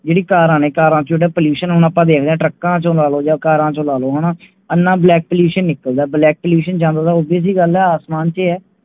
ਜਿਹੜੀ ਕਾਰਾ ਨੇ ਕਾਰਾ ਚੋ Pollution ਆਪ ਦੇਖ ਲੋ ਤੜਕਾ ਛੇ ਦੇਖ ਲੋ ਕਾਰਾ ਛੇ ਲੇਲੋ ਹਨ ਆਣਾ Black pollution ਨਿਕਲਦਾ Black pollution ਉਹਦੀ ਆਸਾਮ ਛੇ ਹੈ